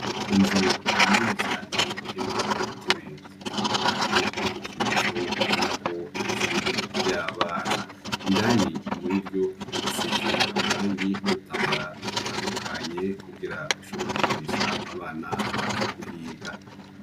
Inzu nini cane irimwo udutebe dutandukanye n'udukinisho ubonako ari ishuri ry'abana indani muriryo hasize amarangi n'udutambara dutandukanye kugira bashobore gukinisha abana baza kuhiga.